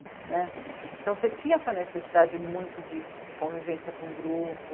Né? Então você tinha essa necessidade muito de de convivência com o grupo,